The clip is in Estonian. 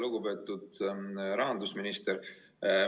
Lugupeetud rahandusminister!